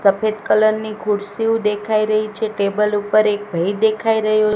સફેદ કલર ની ખુરસીઉ દેખાય રહી છે ટેબલ ઉપર એક ભઈ દેખાય રહ્યો--